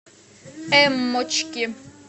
эммочки